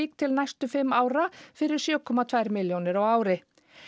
til næstu fimm ára fyrir sjö komma tvær milljónir á ári